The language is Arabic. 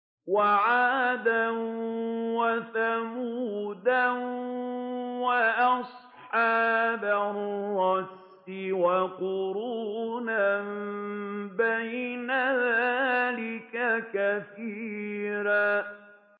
وَعَادًا وَثَمُودَ وَأَصْحَابَ الرَّسِّ وَقُرُونًا بَيْنَ ذَٰلِكَ كَثِيرًا